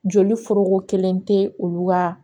Joli foroko kelen tɛ olu ka